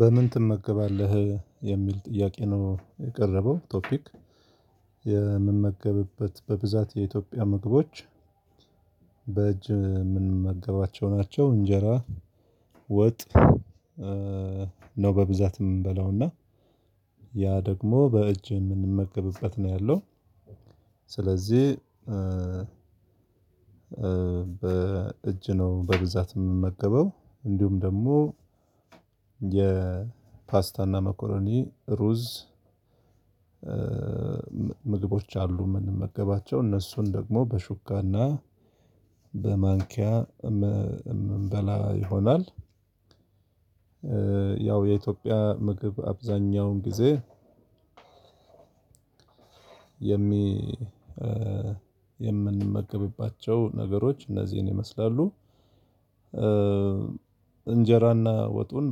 በምን ትመገባለህ የሚል ጥያቄ ነው የቀረበው ቶፒክ? የምመገብበት በብዛት የኢትዮጵያ ምግቦች። በእጅ የምንመገባቸው ናቸው እንጀራ ወጥ። ነው በብዛት የምንበለው እና ያ ደግሞ በእጅ የምንመገብበት ነው ያለው። ስለዚህ በእጅ ነው በብዛት የምመገበው። እንዲሁም ደግሞ የፓስታና መኮረኒ ሩዝ። ምግቦች አሉ የምንመገባቸው እነሱን ደግሞ በሹካና በማንኪያ የምንበላ ይሆናል። ያው የኢትዮጵያ ምግብ አብዛኛውን ጊዜ የምንመገብባቸው ነገሮች እነዚህን ይመስላሉ። እንጀራና ወጡን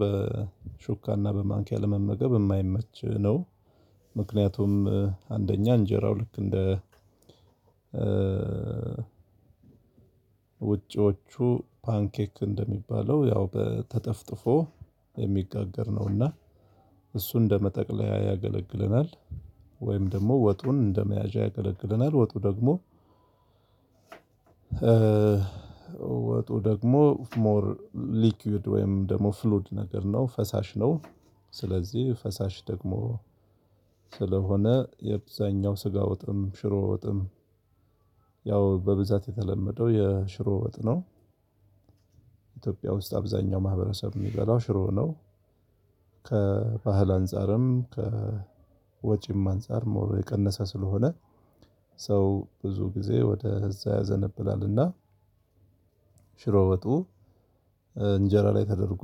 በሹካና በማንኪያ ለመመገብ የማይመች ነው። ምክንያቱም አንደኛ እንጀራው ልክ እንደ ውጪዎቹ ፓንኬክ እንደሚባለው ያው ተጠፍጥፎ የሚጋገር ነውና እሱን እንደመጠቅለያ ያገለግለናል ወይም ደግሞ ወጡን እንደመያዣ ያገለግለናል ወጡ ደግሞ። ወጡ ደግሞ ሞር ሊኩድ ወይም ደግሞ ፍሉድ ነገር ነው ፈሳሽ ነው። ስለዚህ ፈሳሽ ደግሞ ስለሆነ አብዛኛው ስጋ ወጥም ሽሮ ወጥም ያው በብዛት የተለመደ ው የሽሮ ወጥ ነው። ውስጥ አብዛኛው ማህበረሰብ የሚገላው ሽሮ ነው። ከባህል አንፃርም ከወጪም አንፃር ሞር የቀነሰ ስለሆነ ሰው ብዙ ጊዜ ወደ እዛ ያዘነብላልና ሽሮ ወጡ። እንጀራ ላይ ተደርጎ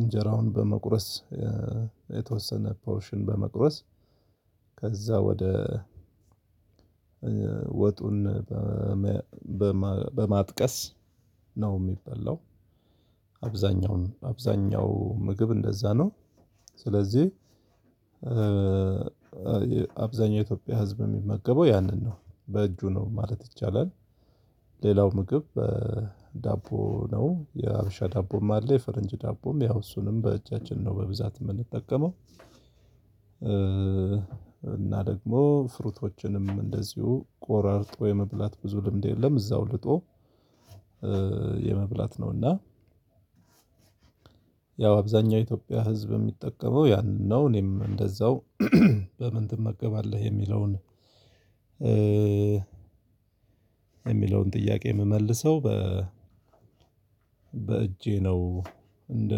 እንጀራውን በመቁረስ የተወሰነ ፖርሽን በመቁረስ ከዛ ወደ ወጡን በማጥቀስ ነው የሚበላው። አብዛኛው ምግብ እንደዛ ነው ስለዚህ አብዛኛው የኢትዮጵያ ህዝብ የሚመገበው ያንን ነው በእጁ ነው ማለት ይቻላል። ሌላው ምግብ ዳቦ ነው የአበሻ ዳቦም አለ የፈረንጅ ዳቦም ያው እሱንም በእጃችን ነው በብዛት የምንጠቀመው። እና ደግሞ ፍሩቶችንም እንደዚሁ ቆራርጦ የመብላት ብዙ ልምድ የለም እዛው ልጦ የመብላት ነው እና። ያው አብዛኛው የኢትዮጵያ ህዝብ የሚጠቀመው ያንን ነው እኔም እንደዛው በምን ትመገባለህ የሚለውን? የሚለውን ጥያቄ የምመልሰው በ በእጄ ነው። እንደ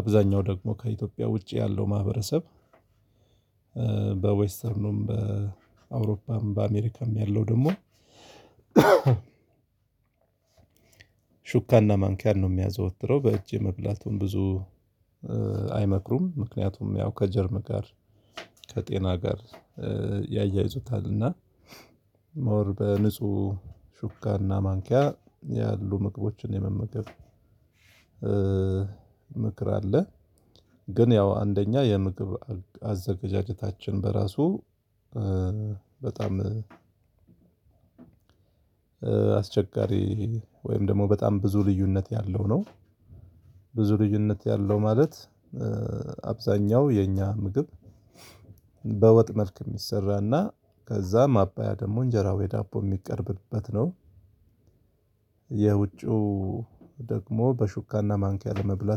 አብዛኛው ደግሞ ከኢትዮጵያ ውጪ ያለው ማህበረሰብ በዌስተርኑም በአውሮፓም በአሜሪካም ያለው ደግሞ። ስለዚህ ፈሳሽ ደግሞ ስለሆነ አብዛኛው ስጋ ወጥም ሽሮ ወጥም ያው በብዛት የተለመደው የሽሮ ወጥ ነው ውስጥ አብዛኛው ማህበረሰብ የሚበላው ሽሮ ነው። ከባህል አንፃርም ከወጪም አንፃር ሞር የቀነሰ ስለሆነ ሰው ብዙ ጊዜ ወደ እዛ ያዘነብላልና ሽሮ ወጡ እንጀራ ላይ ተደርጎ እንጀራውን በመቁረስ የተወሰነ ፖሽን በመቁረስ ከዛ ወደ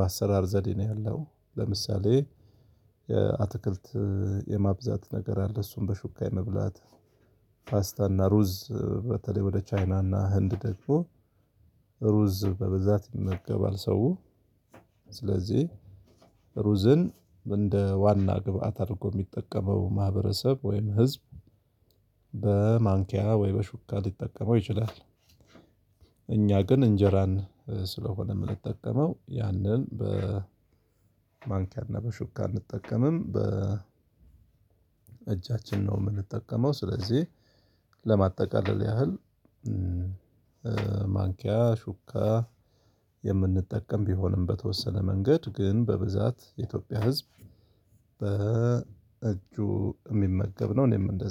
ወጡን በማጥቀስ ነው የሚበላው። አብዛኛውን አብዛኛው ምግብ እንደዛ ነው ስለዚህ አብዛኛው የኢትዮጵያ ህዝብ የሚመገበው ያንን ነው በእጁ ነው ማለት ይቻላል ሌላው ምግብ ዳቦ ነው። የአበሻ ዳቦም አለ የፈረንጅ ዳቦም ያው እሱንም በእጃችን ነው በብዛት የምንጠቀመው እና ደግሞ ፍሩቶችንም እንደዚሁ ቆርጦ የመብላት ብዙ ልምድ የለም እዛው ልጦ የመብላት ነው እና ያው አብዛኛው የኢትዮጵያ ህዝብ የሚጠቀመው ያንን ነው። እኔም እንደዛው በምን ትመገበዋለህ የሚለውን? በማንኪያ ወይ በሹካ ሊጠቀመው ይችላል። እኛ ግን እንጀራን ስለሆነ የምንጠቀመው ያንን በማንኪያና በሹካ አንጠቀምም። እጃችን ነው የምንጠቀመው ስለዚህ ለማጠቃለል ያህል ማንኪያ ሹካ የምንጠቀም ቢሆንም በተወሰነ መንገድ ግን በብዛት የኢትዮጵያ ህዝብ በእጁ እሚመገብ ነው። እኔም እንደዛ